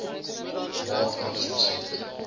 raad anders besluit